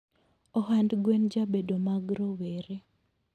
Ohand gwen jabedo mag rowere